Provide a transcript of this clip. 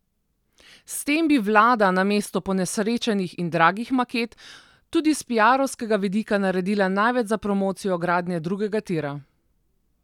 S tem bi vlada, namesto ponesrečenih in dragih maket, tudi s piarovskega vidika naredila največ za promocijo gradnje drugega tira.